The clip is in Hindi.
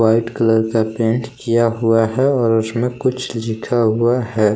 वाइट कलर का पेंट किया हुआ है और उसमें कुछ लिखा हुआ है।